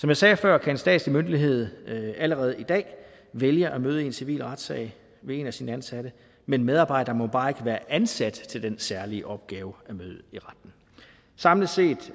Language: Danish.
jeg sagde før kan en statslig myndighed allerede i dag vælge at møde i en civil retssag ved en af sine ansatte men medarbejderen må bare ikke være ansat til den særlige opgave at møde i retten samlet set